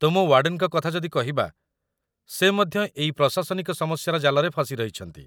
ତୁମ ୱାର୍ଡେନ୍‌ଙ୍କ କଥା ଯଦି କହିବା, ସେ ମଧ୍ୟ ଏଇ ପ୍ରଶାସନିକ ସମସ୍ୟାର ଜାଲରେ ଫସି ରହିଛନ୍ତି